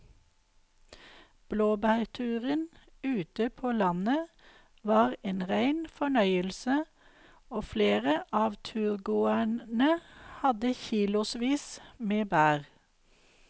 Blåbærturen ute på landet var en rein fornøyelse og flere av turgåerene hadde kilosvis med bær.